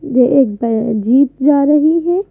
ये एक जीप जा रही है।